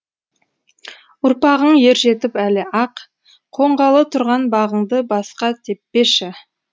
ұрпағың ержетіп әлі ақ қонғалы тұрған бағыңды басқа теппеші